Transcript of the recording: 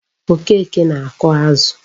Okeke na-ako azu